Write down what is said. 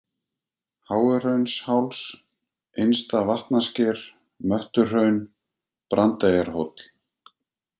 Háuhraunsháls, Innsta-Vatnasker, Möttuhraun, Brandeyjarhóll